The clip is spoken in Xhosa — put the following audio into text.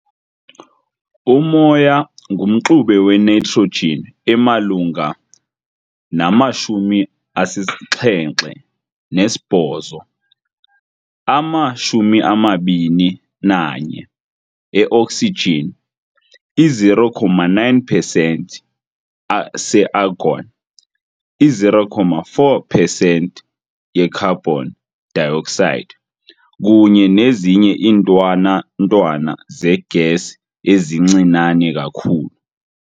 Umoya ngumxube we-nitrogen emalunga nama-78, ama-21 e-oxygen, i-0.9 percent se-argon, i-0.04 percent ye-carbon dioxide, kunye nezinye iintwana ntwana zee-gas ezincinane kakhulu.